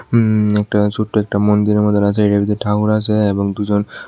উম একটা ছোট্ট একটা মন্দিরের মতন আছে এটার ভিতর ঠাকুর আছে এবং দুজন--